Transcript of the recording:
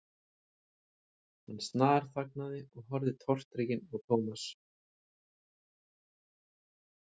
Hann snarþagnaði og horfði tortrygginn á Thomas.